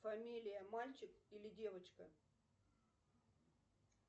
фамилия мальчик или девочка